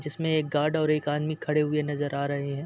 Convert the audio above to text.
जिसमे एक गार्ड और एक आदमी खड़े हुए नजर आ रहे हैं।